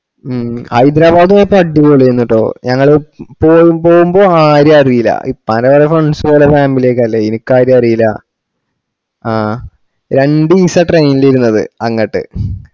മ്മ് ഹൈദരാബാദ് പോയപ്പോ അടിപ്പൊളി ആണുട്ടോ ഞങ്ങള് പോവുമ്പോ ആരെ അറീല ഉപ്പാന്റെ വല്ല friends ഉം ഓല family ഒക്കെ അല്ലെ ഇനിക്ക് ആരെയും അറീല ആഹ് രണ്ടീസാ train ഇരുന്നത് അങ്ങട്ട്